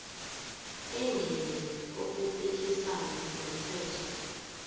engenzi okuphikisana nomthetho